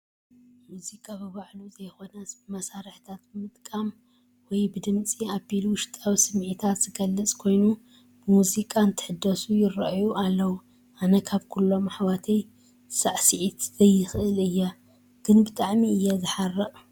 ሙዚቃ ብባዕሉ ዘይኮነስ ብመሳርሒታት ብምጥቃም ወይ ብድምጺ ኣቢሉ ውሽጣዊ ስምዒታት ዝገለፅ ኮይኑ ብሙዚቃ እንትድንሱ ይራኣዩ ኣለው፡፡ ኣነ ካብ ኩሎም ኣሕዋተይ ሳዕሲዒት ዘይክእል እየ፡፡ ግን ብጣዕሚ እየ ዝሓርቕ...